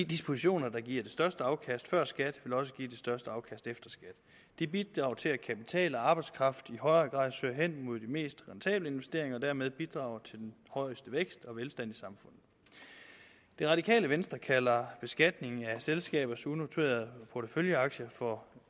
dispositioner der giver det største afkast før skat vil også give det største afkast efter skat det bidrager til at kapital og arbejdskraft i højere grad søger hen mod de mest rentable investeringer og dermed bidrager til den højeste vækst og velstand i samfundet det radikale venstre kalder beskatningen af selskabers unoterede porteføljeaktier for